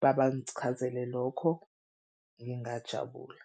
Babangichazele lokho, ngingajabula.